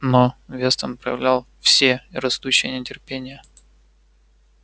но вестон проявлял все растущее нетерпение